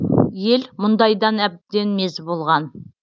ел мұндайдан әбден мезі болған